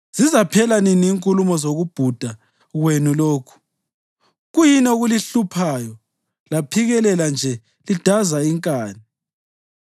Zizaphela nini inkulumo zokubhuda kwenu lokhu? Kuyini okulihluphayo laphikelela nje lidaza inkani?